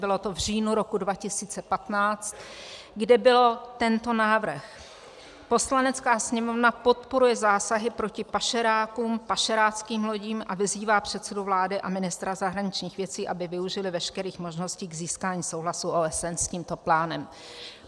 Bylo to v říjnu roku 2015, kde byl tento návrh: Poslanecká sněmovna podporuje zásahy proti pašerákům, pašeráckým lodím a vyzývá předsedu vlády a ministra zahraničních věcí, aby využili veškerých možností k získání souhlasu OSN s tímto plánem.